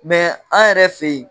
Mɛ an yɛrɛ fɛ yen